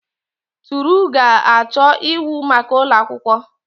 Toru ga-achọ ịwụ maka ụlọ akwụkwọ.